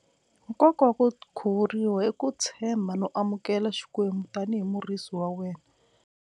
Nkoka wa ku khuvuriwa i ku tshemba no amukela xikwembu tanihi murisi wa wena.